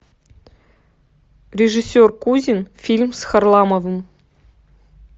режиссер кузин фильм с харламовым